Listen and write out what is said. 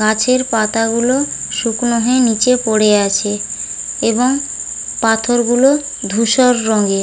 গাছের পাতাগুলো শুকনো হয়ে নিচে পড়ে আছে এবং পাথরগুলো ধূসর রঙের।